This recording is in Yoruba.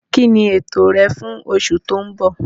Kíni ètò rẹ fún oṣù tó ń bọ̀?